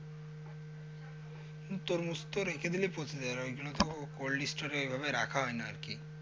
তরমুজ তো রেখে দিলে পচে যাবে ওইজন্য তো cold store এ ওইভাবে রাখা হয়না আরকি।